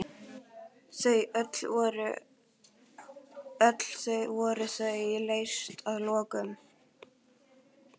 Öll voru þau leyst að lokum.